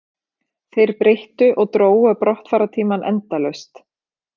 Þeir breyttu og drógu brottfarartímann endalaust